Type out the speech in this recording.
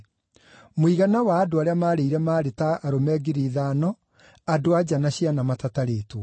Mũigana wa andũ arĩa maarĩire maarĩ ta arũme ngiri ithano, andũ-a-nja na ciana matatarĩtwo.